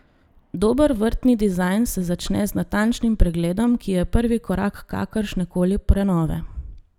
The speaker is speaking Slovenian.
Dober vrtni dizajn se začne z natančnim pregledom, ki je prvi korak kakršne koli prenove.